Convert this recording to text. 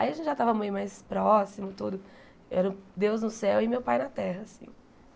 Aí a gente já tava meio mais próximo, tudo... Eu era Deus no céu e meu pai na terra, assim.